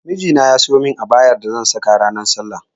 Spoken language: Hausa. Miji na ya siyo mun abayar da zan saka ranar sallah